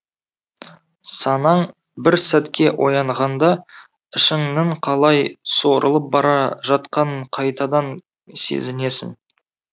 санаң бір сәтке оянғанда ішіңнің қалай суырылып бара жатқанын қайтадан сезінесің